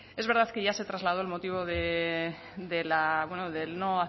es verdad que ya se trasladó el motivo de la no